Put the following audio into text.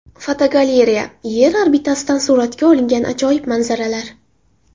Fotogalereya: Yer orbitasidan suratga olingan ajoyib manzaralar.